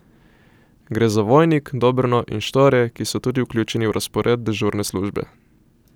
Gre za Vojnik, Dobrno in Štore, ki so tudi vključeni v razpored dežurne službe.